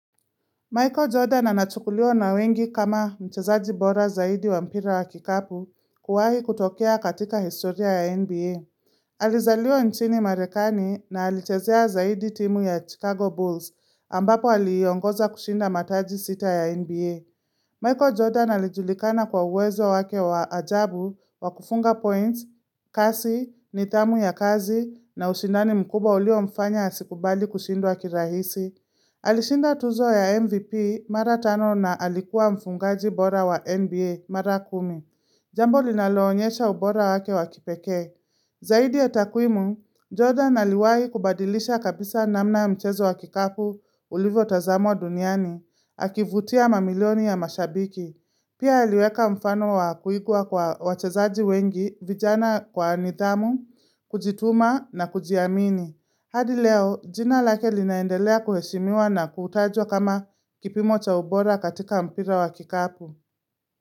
Michael Jordan anachukuliwa na wengi kama mchezaji bora zaidi wa mpira wa kikapu kuwahi kutokea katika historia ya NBA. Alizaliwa nchini marekani na alichezea zaidi timu ya Chicago Bulls ambapo aliongoza kushinda mataji sita ya NBA. Michael Jordan alijulikana kwa uwezo wake wa ajabu wa kufunga points, kasi, nitamu ya kazi na ushindani mkubwa ulio mfanya asikubali kushindwa kirahisi. Alishinda tuzo ya MVP mara tano na alikuwa mfungaji bora wa NBA mara kumi Jambo linaloonyesha ubora wake wakipeke Zaidi ya takuimu, Jordan aliwahi kubadilisha kabisa namna mchezo wa kikapu ulivyo tazamwa duniani Akivutia mamilioni ya mashabiki Pia haliweka mfano wa kuigua kwa wachezaji wengi vijana kwa nitamu, kujituma na kujiamini hadi leo, jina lake linaendelea kuheshimiwa na kutajwa kama kipimo cha ubora katika mpira wa kikapu.